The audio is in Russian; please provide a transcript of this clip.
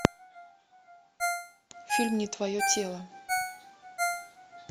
фильм не твое тело